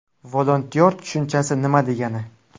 Volontyor tushunchasi nima degani?